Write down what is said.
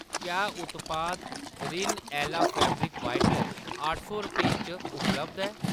क्या उत्पाद Rin Ala fabric whitener अट्ठ सौ रपेंऽ च उपलब्ध ऐ ?